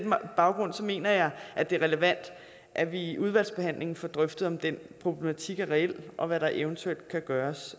baggrund mener jeg at det er relevant at vi i udvalgsbehandlingen får drøftet om den problematik er reel og hvad der eventuelt kan gøres